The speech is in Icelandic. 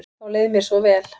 Þá leið mér svo vel.